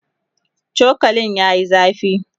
chokalin yayi zafi